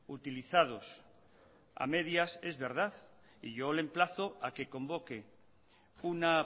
utilizados a medias es verdad y yo le emplazo a que convoque una